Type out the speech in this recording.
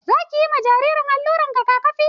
Za ki yi ma jaririn allurar rigakafi?